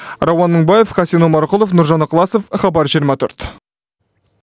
рауан мыңбаев хасен омарқұлов нұржан ықыласов хабар жиырма төрт